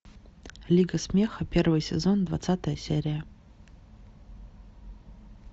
лига смеха первый сезон двадцатая серия